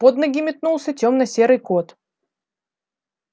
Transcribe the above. под ноги метнулся тёмно-серый кот